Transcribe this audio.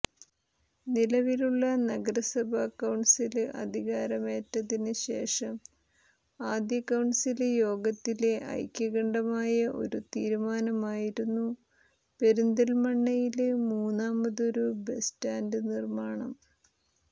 നിലവിലുള്ള നഗരസഭ കൌണ്സില് അധികാരമേറ്റതിന് ശേഷം ആദ്യകൌണ്സില് യോഗത്തിലെ ഐക്യകണ്ഠമായ ഒരു തീരുമാനമായിരുന്നു പെരിന്തല്മണ്ണയില് മൂന്നാമതൊരു ബസ് സ്റ്റാന്ഡ് നിര്മാണം